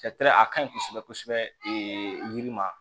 a ka ɲi kosɛbɛ kosɛbɛ yiri ma